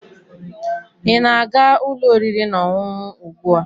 ị na-aga ụlọ oriri na ọṅụṅụ ugbu a?